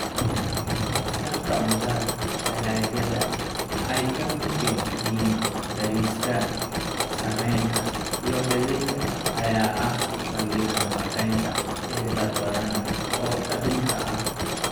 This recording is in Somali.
Dhanka cuntada, dalagyada ay ka midka yihiin bariiska, sarreenka, iyo galleyda ayaa ah saldhigga nafaqeynta ee dad badan oo adduunka ah.